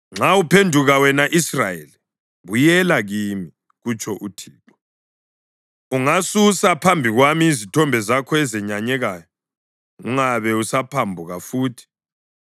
“Nxa uphenduka, wena Israyeli, buyela kimi,” kutsho uThixo. “Ungasusa phambi kwami izithombe zakho ezenyanyekayo ungabe usaphambuka futhi,